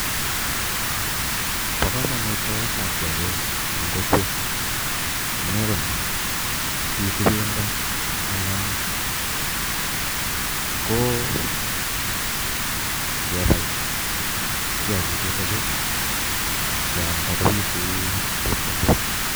Bo komonut baet ab kityakik en kokwet amunee konii pitu pendo anan koo ngebai kiyakik chuton chuu ingealda kopituu chepkondok.